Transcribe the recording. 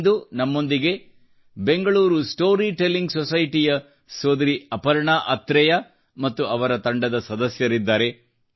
ಇಂದು ನಮ್ಮೊಂದಿಗೆ Bengaluru story telling society ಯ ಸೋದರಿ ಅಪರ್ಣಾ ಆತ್ರೇಯ ಮತ್ತು ಇತರ ಕೆಲವು ಸದಸ್ಯರಿದ್ದಾರೆ